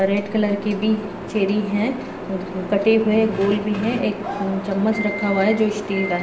Red colour की भी cherry हैं कटे हुए गोल भी है एक चम्मच रखा हुआ है जो स्टिल का है।